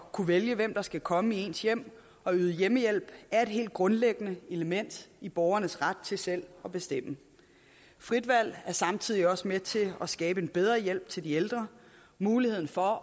at kunne vælge hvem der skal komme i ens hjem og yde hjemmehjælp er et helt grundlæggende element i borgernes ret til selv at bestemme frit valg er samtidig også med til at skabe en bedre hjælp til de ældre muligheden for